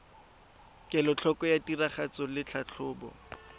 kelotlhoko ya tiragatso le tlhatlhobo